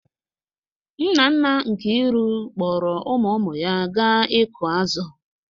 Nna nna Nkiru kpọọrọ ụmụ ụmụ ya gaa ịkụ azụ̀.